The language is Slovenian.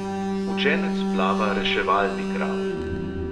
Učenec plava reševalni kravl.